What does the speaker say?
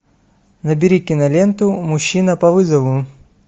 набери киноленту мужчина по вызову